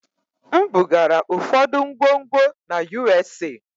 M bugara ụfọdụ ngwongwo na USA.